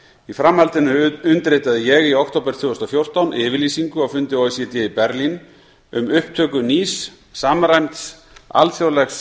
í framhaldinu undirritaði ég í október tvö þúsund og fjórtán yfirlýsingu á fundi o e c d í berlín um upptöku nýs samræmds alþjóðlegs